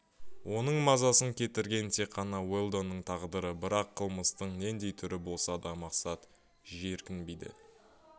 оның мазасын кетірген тек қана уэлдонның тағдыры бірақ қылмыстың нендей түрі болса да мақсат жиіркенбейді